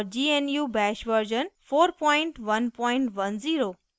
और * gnu bash version 4110